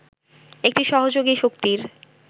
একটি সহযোগী শক্তির